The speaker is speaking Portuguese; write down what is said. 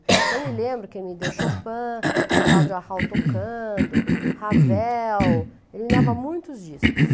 Então eu me lembro que ele me deu Chopin, com o Cláudio Arral tocando, Ravel, ele me dava muitos discos.